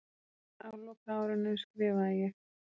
Á lokaárinu skrifaði ég